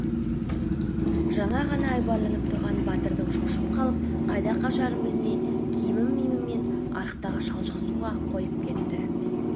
жаңа ғана айбарланып тұрған батырың шошып қалып қайда қашарын білмей киім-миімімен арықтағы шалшық суға қойып кетті